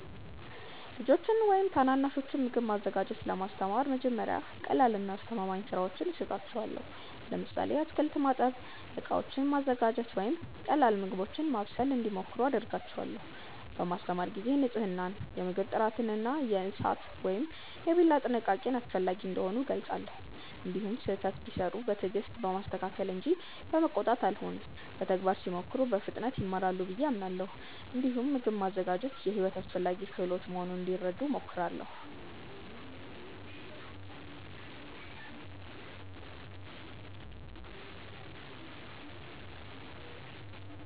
ልጆችን ወይም ታናናሾችን ምግብ ማዘጋጀት ለማስተማር መጀመሪያ ቀላልና አስተማማኝ ሥራዎችን እሰጣቸዋለሁ። ለምሳሌ አትክልት ማጠብ፣ ዕቃዎችን ማዘጋጀት ወይም ቀላል ምግቦችን ማብሰል እንዲሞክሩ አደርጋለሁ። በማስተማር ጊዜ ንፅህናን፣ የምግብ ጥራትን እና የእሳት ወይም የቢላ ጥንቃቄን አስፈላጊ እንደሆኑ እገልጻለሁ። እንዲሁም ስህተት ቢሠሩ በትዕግስት በማስተካከል እንጂ በመቆጣት አልሆንም። በተግባር ሲሞክሩ በፍጥነት ይማራሉ ብዬ አምናለሁ። እንዲሁም ምግብ ማዘጋጀት የሕይወት አስፈላጊ ክህሎት መሆኑን እንዲረዱ እሞክራለሁ።